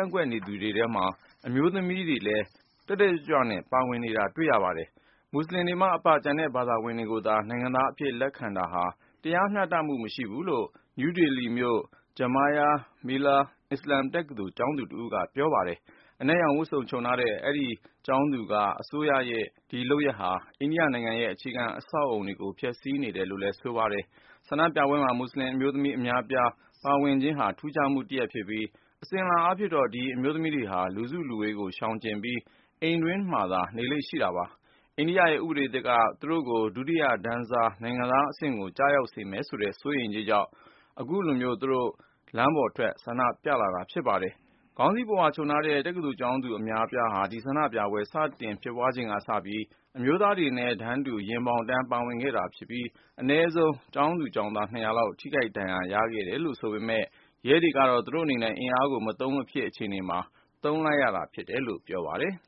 န့်ကွက်နေကြတဲ့ သူတွေထဲမှာ အမျိုးသမီးတွေလည်း တက်တက်ကြွကြွ ပါဝင်နေကြပါတယ်။ မွတ်စလင်တွေမှအပ ကျန်တဲ့ဘာသာဝင်တွေကိုသာ နိုင်ငံသားအဖြစ် လက်ခံတာဟာ တရားမျှတမှု မရှိဘူးလို့ နယူးဒေလီမြို့ Jamia Millia အစ္စလာမ်တက္ကသိုလ် ကျောင်းသူတဦးက ပြောပါတယ်။ အနက်ရောင်ဝတ်စုံ ခြုံထားတဲ့ အဆိုပါကျောင်းသူက အစိုးရရဲ့ ဒီလုပ်ရပ်ဟာ အိန္ဒိယနိုင်ငံရဲ့ အခြေခံအဆောက်အဦကို ဖျက်ဆီးနေတယ်လို့လည်း ဆိုပါတယ်။ ဆန္ဒပြပွဲမှာ မွတ်စလင်အမျိုးသမီး အများအပြား ပါဝင်ခြင်းဟာ ထူးခြားမှုတရပ်ဖြစ်ပြီး အစဉ်အလာအားဖြင့် ဒီအမျိုးသမီးတွေဟာ လူစုလူဝေးကို ရှောင်ကြဉ်ပြီး အိမ်တွင်းမှာသာ နေလေ့ရှိတာပါ။ အိန္ဒိယရဲ့ ဥပဒေသစ်က သူတို့ကို ဒုတိယတန်းစား နိုင်ငံသားအဆင့်ကို ကျရောက်စေမယ်ဆိုတဲ့ စိုးရိမ်စိတ်ကြောင့် သူတို့ အခုလို လမ်းပေါ်ထွက် ဆန္ဒပြလာတာ ဖြစ်ပါတယ်။ ခေါင်းစည်းပုဝါခြုံထားတဲ့ တက္ကသိုလ်ကျောင်းသူ အများအပြားဟာ ဒီဆန္ဒပြပွဲ စတင်ဖြစ်ပွားချိန်ကစပြီး အမျိုးသားတွေနဲ့အတူ ရင်ဘောင်တန်း ပါဝင်ခဲ့တာဖြစ်ပြီး အနည်းဆုံး ကျောင်းသူ ကျောင်းသား ၂၀၀ လောက် ထိခိုက်ဒဏ်ရာရခဲ့ပြီ ဖြစ်ပေမယ့် ရဲတွေကတော့ သူတို့ဟာ အင်အားကို မသုံးမဖြစ်တဲ့ အခြေအနေမှာ သုံးလိုက်ရတာ ဖြစ်တယ်လို့ ပြောပါတယ်။